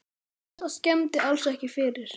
Það skemmdi alls ekki fyrir.